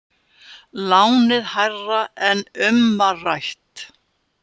Lánið hærra en um var rætt